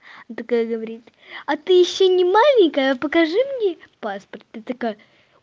ну такая говорит а ты ещё не маленькая покажи мне паспорт ты такая